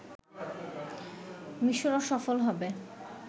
মিশরও সফল হবে